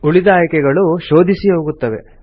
ಉಳಿದ ಆಯ್ಕೆಗಳು ಶೋಧಿಸಿ ಹೋಗುತ್ತವೆ